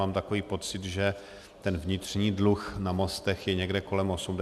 Mám takový pocit, že ten vnitřní dluh na mostech je někde kolem 80 miliard.